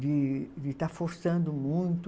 De de estar forçando muito.